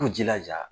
K'u jilaja